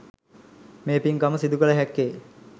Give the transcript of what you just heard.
මේ පින්කම සිදුකළ හැක්කේ.